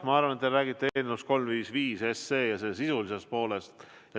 Ma arvan, et te räägite eelnõust 355 ja selle sisulisest poolest.